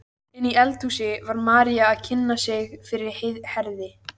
Inni í eldhúsi var María að kynna sig fyrir Herði.